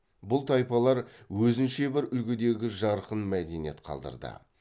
бұл тайпалар өзінше бір үлгідегі жарқын мәдениет қалдырды